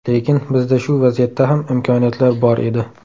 Lekin, bizda shu vaziyatda ham imkoniyatlar bor edi.